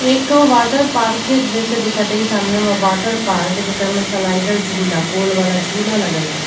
एक ठो वाटरपार्क जैसे दिखत हय सामने में वाटरपार्क जेकर में स्लाइडर झूला जेकर गोल वाला झूला लगल हई --